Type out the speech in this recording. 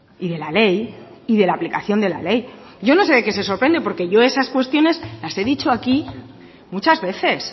y de la ley y de la aplicación de la ley yo no sé de qué se sorprenden porque yo esas cuestiones las he dicho aquí muchas veces